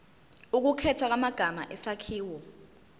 ukukhethwa kwamagama isakhiwo